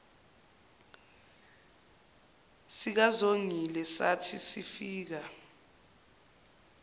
sikazongile sathi sifika